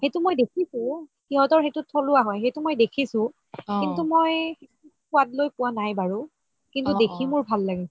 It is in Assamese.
সেইটো মই দেখিছো সেইটো সিহতৰ থলুৱা হয়, সেইটো মই দেখিছো কিন্তু মই সুৱাদ লই পোৱা নাই বাৰু কিন্তু দেখি মোৰ ভাল লাগে